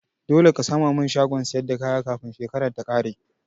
Dole ka sama min shagon siyar da kaya kafin shekaran ta kare